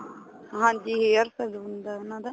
ਹਾਂਜੀ hairs ਦਾ ਹੁੰਦਾ ਉਹਨਾ ਦਾ